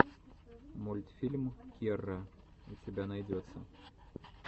мультфильм кирра у тебя найдется